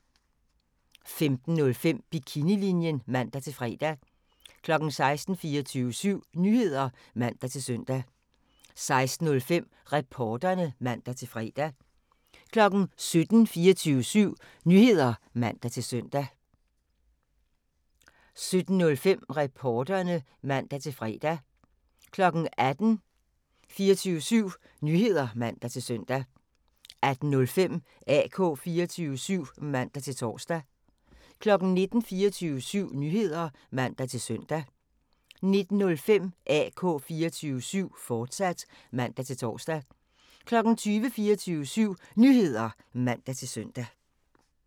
15:05: Bikinilinjen (man-fre) 16:00: 24syv Nyheder (man-søn) 16:05: Reporterne (man-fre) 17:00: 24syv Nyheder (man-søn) 17:05: Reporterne (man-fre) 18:00: 24syv Nyheder (man-søn) 18:05: AK 24syv (man-tor) 19:00: 24syv Nyheder (man-søn) 19:05: AK 24syv, fortsat (man-tor) 20:00: 24syv Nyheder (man-søn)